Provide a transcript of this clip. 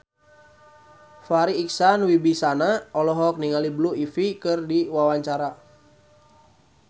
Farri Icksan Wibisana olohok ningali Blue Ivy keur diwawancara